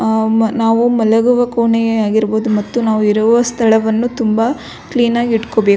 ಅ ನಾವು ಮಲಗುವ ಕೋಣೆ ಆಗಿರ್ಬಹುದು ಮತ್ತು ನಾವು ಇರುವ ಸ್ಥಳವನ್ನು ತುಂಬ ಕ್ಲೀನಾಗಿ ಇಟ್ಟ್ಕೊಳ್ಳ್ಬೇಕು .